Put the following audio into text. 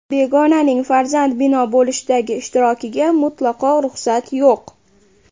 Begonaning farzand bino bo‘lishidagi ishtirokiga mutlaqo ruxsat yo‘q.